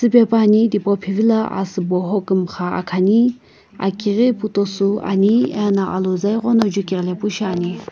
ve puani tipau phivila asübo hokumxa akhani aki ghi putosü ani ena aluza ighono jukighilepu shiani.